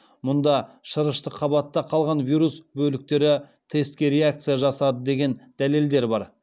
мұнда шырышты қабатта қалған вирус бөліктері тестке реакция жасады деген дәлелдер бар